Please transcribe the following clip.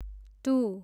to